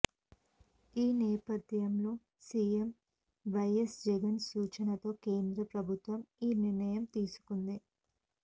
ఈ నేపథ్యంలో సీఎం వైఎస్ జగన్ సూచనతో కేంద్ర ప్రభుత్వం ఈ నిర్ణయం తీసుకుంది